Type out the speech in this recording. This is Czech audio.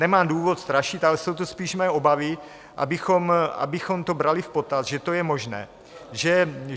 Nemám důvod strašit, ale jsou to spíše moje obavy, abychom to brali v potaz, že to je možné.